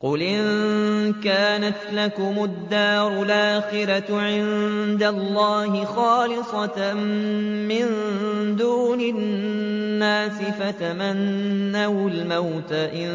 قُلْ إِن كَانَتْ لَكُمُ الدَّارُ الْآخِرَةُ عِندَ اللَّهِ خَالِصَةً مِّن دُونِ النَّاسِ فَتَمَنَّوُا الْمَوْتَ إِن